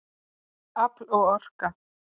Afl og orka